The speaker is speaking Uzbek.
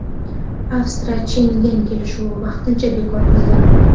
Avstriya Shengen kelishuvini vaqtincha bekor qildi.